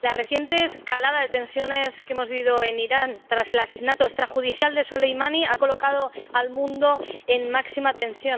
la reciente escalada de tensiones que hemos vivido en Irán tras el asesinato extrajudicial de Soleimani ha colocado al mundo en máxima tensión.